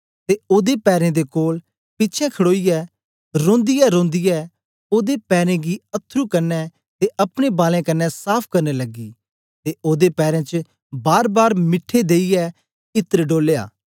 ते ओदे पैरें दे कोल पिछें खडोईयै रोंदीऐरोंदीऐ ओदे पैरेन गी अथरू कन्ने ते अपने बालैं कन्ने साफ करन लगी ते ओदे पैरें च बारबार मीठे देईयै इत्र डोलया